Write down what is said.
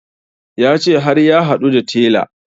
Ya ce har ya haɗu da tela